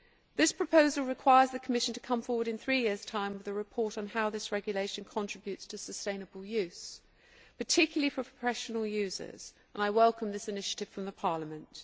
The proposal requires the Commission to come forward in three years' time with a report on how this regulation contributes to sustainable use, particularly for professional users, and I welcome this initiative from Parliament.